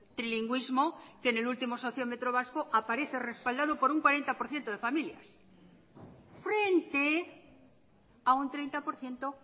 trilingüismo que en el último sociómentro vasco aparece respaldado por un cuarenta por ciento de familias frente a un treinta por ciento